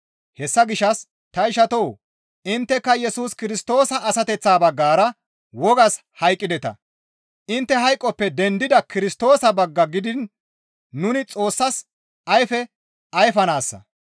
Hessa gishshas ta ishatoo! Intteka Yesus Kirstoosa asateththa baggara wogas hayqqideta; intte hayqoppe dendida Kirstoosa bagga gidiin nuni Xoossas ayfe ayfanaassa.